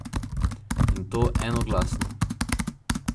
In to enoglasno!